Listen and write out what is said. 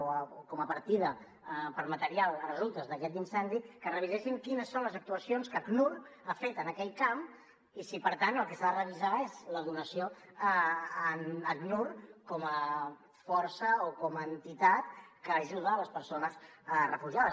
o com a partida per a material a resultes d’aquest incendi que revisessin quines són les actuacions que acnur ha fet en aquell camp i si per tant el que s’ha de revisar és la donació a acnur com a força o com a entitat que ajuda les persones refugiades